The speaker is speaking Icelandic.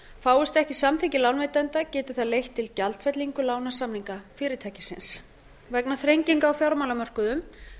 fáist ekki samþykki lánveitenda getur það leitt til gjaldfellingu lánasamninga fyrirtækisins vegna þrenginga á fjármálamörkuðum